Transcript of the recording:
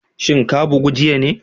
Shin ka bugu jiya ne?